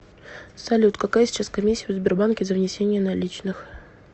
салют какая сейчас комиссия в сбербанке за внесение наличных